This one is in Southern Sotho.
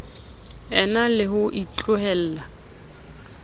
e na le ho itlohella